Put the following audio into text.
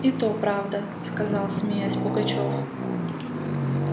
и то правда сказал смеясь пугачёв